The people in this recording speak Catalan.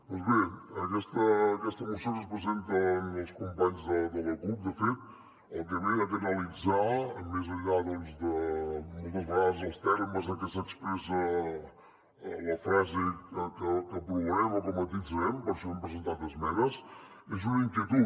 doncs bé aquesta moció que ens presenten els companys de la cup de fet el que ve a canalitzar més enllà de moltes vegades els termes en que s’expressa la frase que aprovarem o que matisarem per això hem presentat esmenes és una inquietud